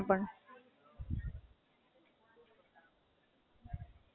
તો ચાલુ રખાય ને મજા આવે એમાં તો એ આગળ વધવાનો સ્કોપ એમાં બી છે ને.